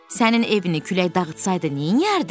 Sənin evini külək dağıtsaydı neyləyərdin?